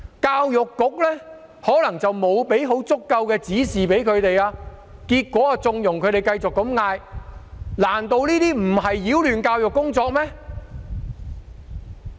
教育局可能沒有向學校提供足夠指示，結果縱容他們繼續這樣呼喊，難道這些不是擾亂教育工作嗎？